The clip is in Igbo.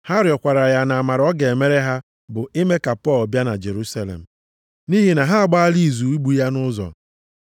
Ha rịọkwara ya nʼamara ọ ga-emere ha bụ ime ka Pọl bịa na Jerusalem. Nʼihi na ha agbaala izu igbu ya nʼụzọ.